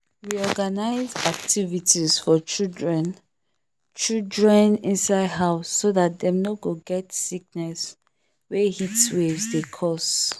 we organize activities for children children inside house so that dem no go get sickness wey heatwaves dey cause